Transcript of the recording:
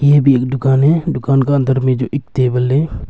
ये भी एक दुकान है दुकान का अंदर में जो एक टेबल है।